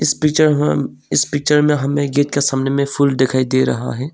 इस पिक्चर में इस पिक्चर में हमें गेट के सामने फूल दिखाई दे रहा है।